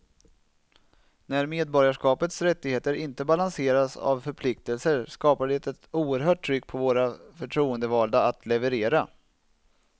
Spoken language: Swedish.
När medborgarskapets rättigheter inte balanseras av förpliktelser skapar det ett oerhört tryck på våra förtroendevalda att leverera.